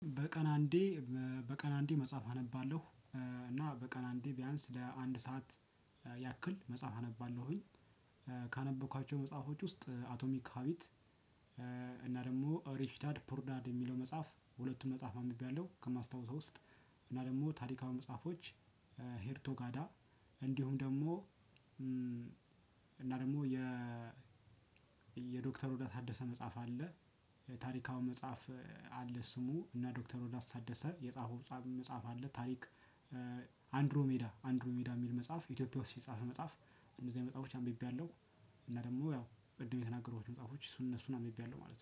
በቀን አንዴ በቀን አንዴ መጽሐፍ አነባለሁ እና በቀን አንዴ ቢያንስ ለአንድ ሰዓት ያክል መጽሐፍ አነባለሁኝ። ካነበብኳቸው መጽሐፎች ውስጥ አቶሚክ ሀቢት። እና ደግሞ ሪች ዳድ ፑርዳድ የሚለው መጽሐፍ ሁለቱም መጽሐፍ አንብቤያለሁ ከማስታወስ ውስጥ። እና ደግሞ ታሪካዊ መጽሐፎች። ሄርቶ ጋዳ እንዲሁም ደግሞ እና ደግሞ የ ዶክተር ሮዳስ ታደሰ መጽሐፍ አለ። ታሪካዊ መጽሐፍ። አለ ስሙ እና ዶክተር ሮዳስ ታደሰ የጻፈው መጽሐፍ አለ ታሪክ። አንድሮ ሜዳ አንድሮ ሜዳ የሚል መጽሐፍ ኢትዮጵያ ውስጥ የጻፈ መጽሐፍ እንደዚህ አይነት መጽሐፎች አንብቤያለሁ። እና ደግሞ ያው ቅድም የተናገርኳቸው መጽሐፎች እሱን እነሱን አንብቤያለሁ ማለት ነው